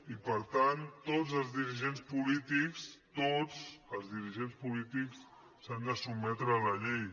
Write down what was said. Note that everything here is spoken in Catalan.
i per tant tots els dirigents polítics tots els dirigents polítics s’han de sotmetre a la llei